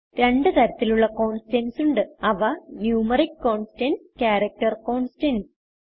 രണ്ടു തരത്തിലുള്ള കോൺസ്റ്റന്റ്സ് ഉണ്ട് അവ ന്യൂമറിക്ക് കോൺസ്റ്റന്റ്സ് ക്യാരക്ടർ കോൺസ്റ്റന്റ്സ്